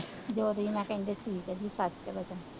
ਜੋੜੀ ਨਾਲ ਕਹਿੰਦੇ ਸੀ